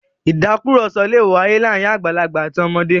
*Ìtàkurọ̀sọ lè wáyé láàárín àgbàlagbà àti ọmọdé.